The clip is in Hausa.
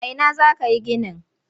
A ina za ka yi ginin?